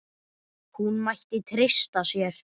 Hún mætti treysta sér.